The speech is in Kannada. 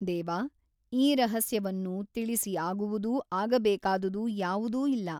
ದೇವಾ ಈ ರಹಸ್ಯವನ್ನು ತಿಳಿಸಿ ಆಗುವುದೂ ಆಗಬೇಕಾದುದೂ ಯಾವುದೂ ಇಲ್ಲ.